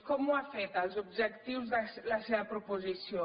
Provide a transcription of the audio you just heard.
com ho ha fet als objectius de la seva proposició